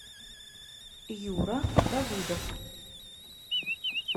юра давыдов